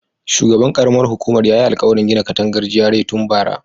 Shugaban karamar hukumar yayi alkawarin gina katangar GRA tun bara